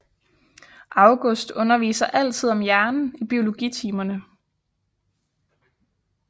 August underviser altid om hjernen i biologitimerne